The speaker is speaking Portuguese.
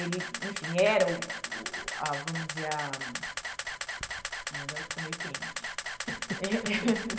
Ele, enfim, era o o, ah vamos dizer ah, ai agora ficou meio quente.